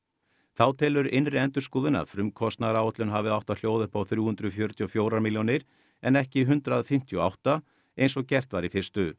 þá telur innri endurskoðun að frumkostnaðaráætlun hafi átt að hljóða upp á þrjú hundruð fjörutíu og fjögur milljónir en ekki hundrað fimmtíu og átta eins og gert var í fyrstu